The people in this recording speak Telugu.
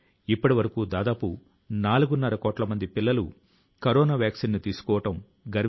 మనం దేశాన్ని అభివృద్ధి లో కొత్త శిఖరాల కు తీసుకుపోవాలి